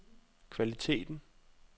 kvaliteten